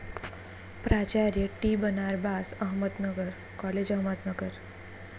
प्राचार्य, टी.बनारबास, अहमदनगर कॉलेज, अहमदनगर